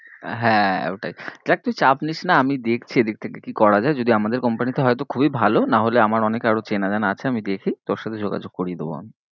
হ্যাঁ ওটাই, দেখ তুই চাপ নিস না আমি দেখছি এদিক থেকে কি করা যায়ে যদি আমাদের company তে হয়ে তো খুব ই ভালো নাহোলে আমার অনেক আরো চেনা জানা আছে আমি দেখি তোর সাথে যোগাযোগ করিয়ে দেব আমি।